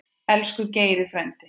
Elsku Geiri frændi.